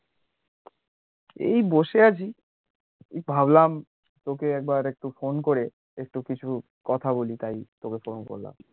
এই বসে আছি, ভাবলাম, তোকে একবার একটু ফোন করে একটু কিছু কথা বলি, তাই তোকে ফোন করলাম